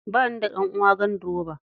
Ba ni da ɗan'uwa ganduroba.